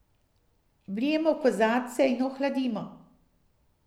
Vlijemo v kozarce in ohladimo.